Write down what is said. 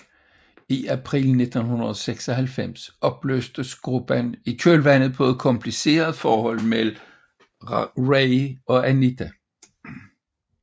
I april 1996 opløstes gruppen i kølvandet på et kompliceret forhold mellem Ray og Anita